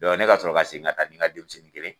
ne ka sɔrɔ ka seginn ka taa ni n ka denmisɛnnin kelen.